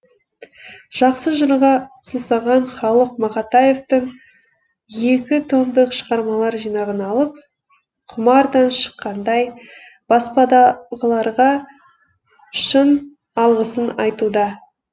жақсы жырға сусаған халық мақатаевтың екі томдық шығармалар жинағын алып құмардан шыққандай баспадағыларға шын алғысын айтуда